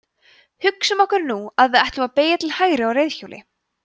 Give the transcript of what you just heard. hugsum okkur nú að við ætlum að beygja til hægri á reiðhjóli